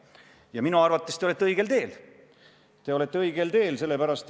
Ja minu arvates te olete õigel teel.